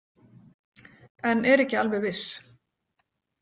En er ekki alveg viss.